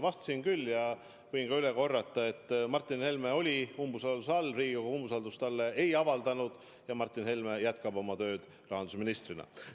Vastasin küll ja võin ka üle korrata: Martin Helme oli umbusalduse all, Riigikogu talle umbusaldust ei avaldanud ja Martin Helme jätkab tööd rahandusministrina.